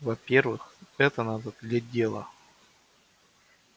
во-первых это надо для дела